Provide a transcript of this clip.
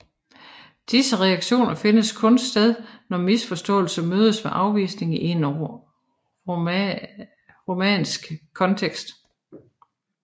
Disse reaktioner finder kun sted når misforståelse mødes med afvisning i en romantisk kontekst